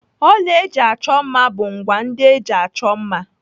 Ọla ndị eji achọ mma bụ ngwá ndị eji achọ mma.